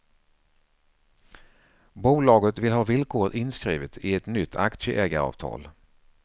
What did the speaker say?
Bolaget vill ha villkoret inskrivet i ett nytt aktieägaravtal.